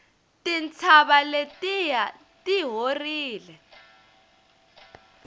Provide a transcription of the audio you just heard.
tintshava letiya ti horile